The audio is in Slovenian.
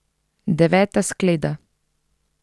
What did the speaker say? Deveta skleda.